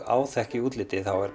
áþekk í útliti þá er